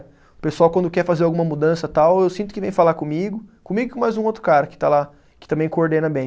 O pessoal quando quer fazer alguma mudança tal, eu sinto que vem falar comigo, comigo e com mais um outro cara que está lá, que também coordena bem.